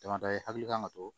Damadɔ i hakili kan ka to